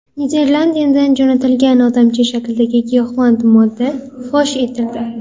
Niderlandiyadan jo‘natilgan odamcha shaklidagi giyohvand modda fosh etildi.